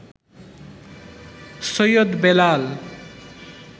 Syed Belal